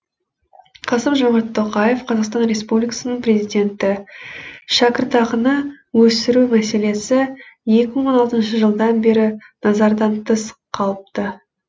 қасым жомарт тоқаев қазақстан республикасының президенті шәкіртақыны өсіру мәселесі екі мың он алтыншы жылдан бері назардан тыс қалыпты